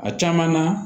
A caman na